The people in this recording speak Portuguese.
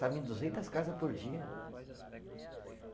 em duzentas casa por dia.